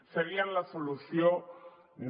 serien la solució no